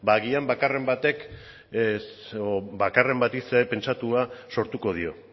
ba agian bakarren bati zer pentsatua sortuko dio